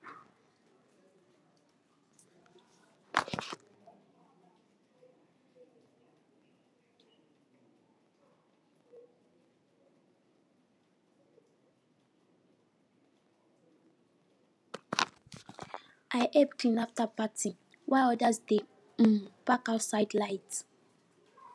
i help clean after party while others dey um pack outside light